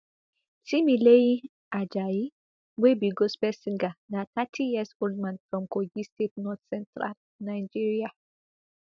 timileyin ajayi wey be gospel singer na thirty years old man from kogi state northcentral nigeria